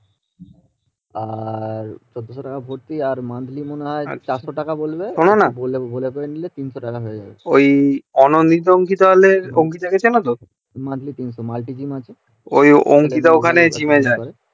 শোনোনা ওই অঙ্কিতা কে চেনতো ও অঙ্কিতা ওখানে জিম এ যায়